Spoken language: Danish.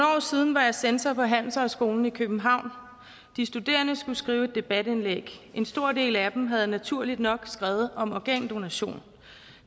siden var jeg censor på handelshøjskolen i københavn de studerende skulle skrive et debatindlæg en stor del af dem havde naturligt nok skrevet om organdonation